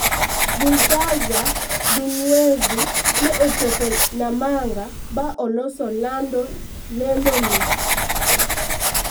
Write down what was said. Balthazar Nduwayezu ne ochopo Namanga ba oloso lando ni